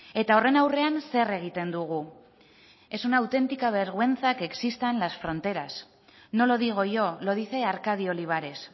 eta horren aurrean zer egiten dugu es una autentica vergüenza que existan las fronteras no lo digo yo lo dice arcadio olivares